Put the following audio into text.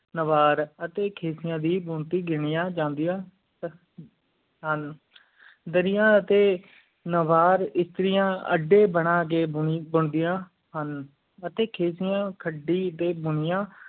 ਨਾਵਾਰ ਅਤਿ ਖੇਸੀਆਂ ਦੀ ਬੁਣਤੀ ਗਿਣਿਆ ਜਾਂਦੀਆਂ ਹੁਣ ਦਰਿਆ ਤੇ ਨਾਵਾਰ ਇਸਤਰੀਆਂ ਅੱਡੀ ਬਣਾ ਹੁਣ ਅਤਿ ਖੀਸਿਯਾ ਖਾਦੀ ਟੀ ਬੰਦਿਆਂ ਹੁਣ